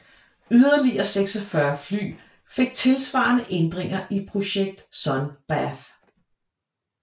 Yderligere 46 fly fik tilsvarende ændringer i projekt Sun Bath